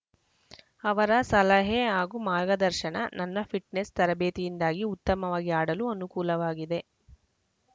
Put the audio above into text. ಅವರ ಸಲಹೆ ಹಾಗೂ ಮಾರ್ಗದರ್ಶನ ನನ್ನ ಫಿಟ್ನೆಸ್‌ ತರಬೇತಿಯಿಂದಾಗಿ ಉತ್ತಮವಾಗಿ ಆಡಲು ಅನುಕೂಲವಾಗಿದೆ